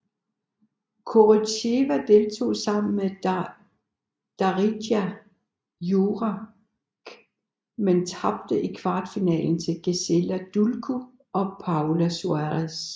Koryttseva deltog sammen med Darija Jurak men tabte i kvartfinalen til Gisela Dulko og Paola Suárez